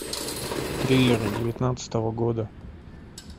триллеры девятнадцатого года